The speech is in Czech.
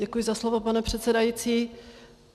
Děkuji za slovo, pane předsedající.